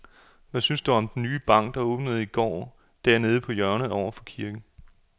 Hvad synes du om den nye bank, der åbnede i går dernede på hjørnet over for kirken?